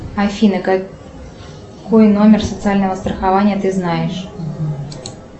афина какой номер социального страхования ты знаешь